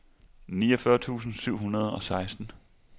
niogfyrre tusind syv hundrede og seksten